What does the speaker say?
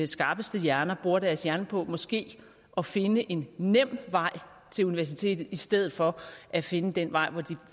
skarpeste hjerner bruger deres hjerne på måske at finde en nem vej til universitetet i stedet for at finde den vej hvor de